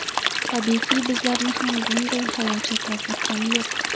Tabiiyki, bizlarni ham bunday xayol chetlab o‘tgani yo‘q.